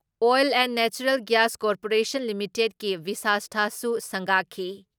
Oil and natural gas corporation ꯂꯤꯃꯤꯇꯦꯠꯀꯤ ꯕꯥꯁꯤꯁꯊꯥꯁꯨ ꯁꯪꯒꯥꯈꯤ ꯫